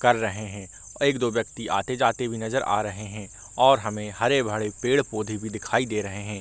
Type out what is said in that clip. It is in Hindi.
कर रहे हैं और एक दो व्यक्ति आते जाते भी नजर आ रहे हैं और हमें हरे भरे पेड़-पोधे भी दिखाई दे रहे हैं ।